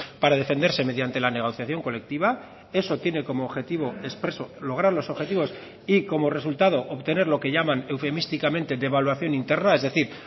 para defenderse mediante la negociación colectiva eso tiene como objetivo expreso lograr los objetivos y como resultado obtener lo que llaman eufemísticamente devaluación interna es decir